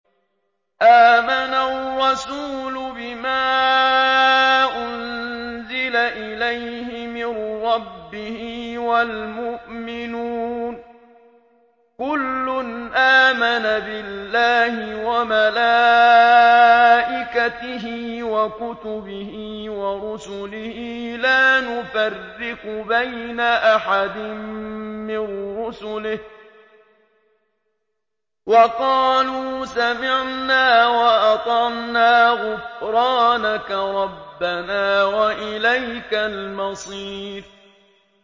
آمَنَ الرَّسُولُ بِمَا أُنزِلَ إِلَيْهِ مِن رَّبِّهِ وَالْمُؤْمِنُونَ ۚ كُلٌّ آمَنَ بِاللَّهِ وَمَلَائِكَتِهِ وَكُتُبِهِ وَرُسُلِهِ لَا نُفَرِّقُ بَيْنَ أَحَدٍ مِّن رُّسُلِهِ ۚ وَقَالُوا سَمِعْنَا وَأَطَعْنَا ۖ غُفْرَانَكَ رَبَّنَا وَإِلَيْكَ الْمَصِيرُ